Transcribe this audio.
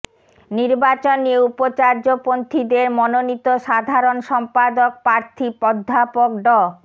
নির্বাচন নিয়ে উপাচার্যপন্থিদের মনোনীত সাধারণ সম্পাদক প্রার্থী অধ্যাপক ড